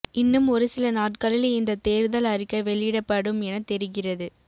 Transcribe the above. இன்னும் ஒருசில நாட்களில் இந்த தேர்தல் அறிக்கை வெளியிடப்படும் என தெரிகிறது